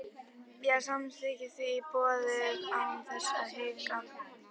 Ég samþykkti því tilboðið án þess að hika.